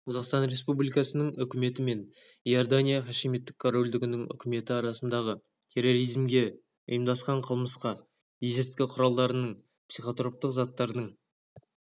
қазақстан республикасының үкіметі мен иордания хашимиттік корольдігінің үкіметі арасындағы терроризмге ұйымдасқан қылмысқа есірткі құралдырының психотроптық заттардың